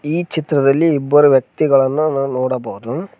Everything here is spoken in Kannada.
ಈ ಚಿತ್ರದಲ್ಲಿ ಇಬ್ಬರು ವ್ಯಕ್ತಿಗಳನ್ನು ನಾವು ನೋಡಬಹುದು.